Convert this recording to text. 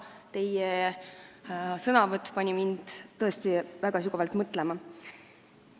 Teie sõnavõtt pani mind tõesti väga sügavalt mõtlema.